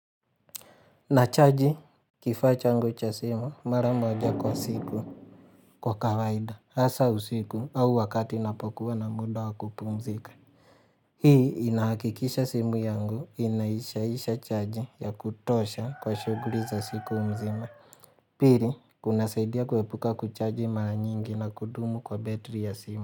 Nachaji kifaa changu cha simu mara moja kwa siku kwa kawaida hasa usiku au wakati ninapokuwa na muda wa kupumzika. Hii inahakikisha simu yangu inaishaisha chaji ya kutosha kwa shughuli za siku mzima. Piri kunasaidia kuepuka kuchaji mara nyingi na kudumu kwa betri ya simu.